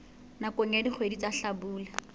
nakong ya dikgwedi tsa hlabula